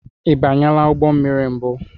I banyela ụgbọ mmiri mbụ?